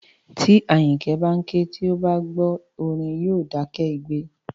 Tí Àyìnkẹ́ bá ń ké, tí ó bá ti gbọ́ orin, yóò dákẹ́ igbe